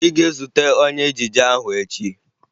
Ị ga-ezute onye ejije ahụ echi!